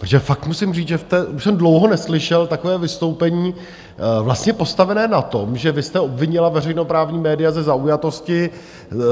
Protože fakt musím říct, že už jsem dlouho neslyšel takové vystoupení vlastně postavené na tom, že vy jste obvinila veřejnoprávní média ze zaujatosti,